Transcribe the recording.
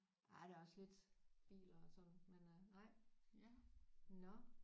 Ej der er også lidt biler og sådan men øh nej nåh